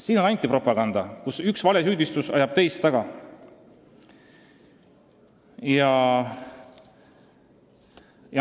Siin on antipropaganda, kus üks valesüüdistus ajab teist taga.